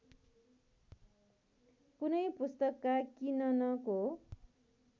कुनै पुस्तकका किननको